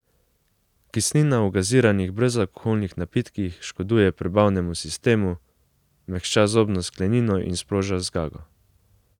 Kislina v gaziranih brezalkoholnih napitkih škoduje prebavnemu sistemu, mehča zobno sklenino in sproža zgago.